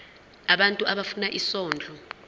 abantu abafuna isondlo